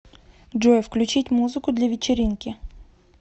джой включить музыку для вечеринки